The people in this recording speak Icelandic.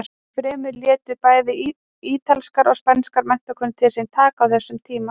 Enn fremur létu bæði ítalskar og spænskar menntakonur til sín taka á þessum tíma.